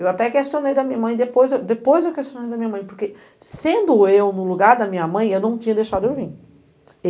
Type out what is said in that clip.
Eu até questionei da minha mãe, depois depois eu questionei da minha mãe, porque sendo eu no lugar da minha mãe, eu não tinha deixado eu vim.